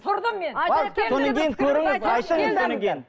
тұрдым мен